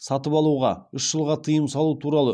сатып алуға үш жылға тыйым салу туралы